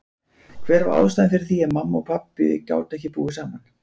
Hver var ástæðan fyrir því að mamma og pabbi gátu ekki búið saman?